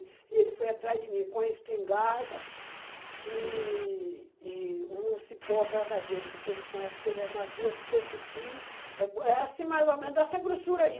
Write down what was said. E ele foi atrás de mim com a espingarda e e um cipó verdadeiro, que ele é mais grosso que esse fio, é é assim mais ou menos dessa grossura aí.